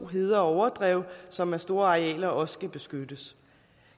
heder og overdrev som er store arealer også skal beskyttes